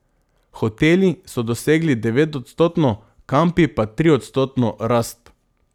Hoteli so dosegli devetodstotno, kampi pa triodstotno rast.